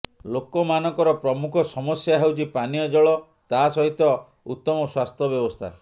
ଲୋକ ମାନଙ୍କର ପ୍ରମୁଖ ସମସ୍ୟା ହେଉଛି ପାନୀୟ ଜଳ ତା ସହିତ ଉତମ ସ୍ୱାସ୍ଥ୍ୟ ବ୍ୟବସ୍ଥା